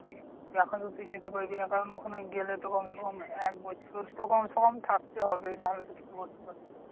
এখন তো তুই যেতে পারবি না। কারণ ওখানে গেলে তো কমসেকম এক বছর তো কমসেকম থাকতে হবেই নাহলে তুই কিছু করতে পারবি না।